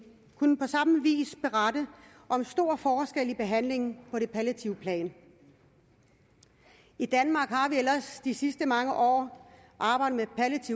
kunne på samme vis berette om stor forskel i behandlingen på det palliative plan i danmark har vi ellers de sidste mange år arbejdet